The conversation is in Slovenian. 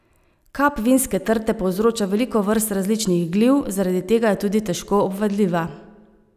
Kap vinske trte povzroča veliko vrst različnih gliv, zaradi tega je tudi težko obvladljiva.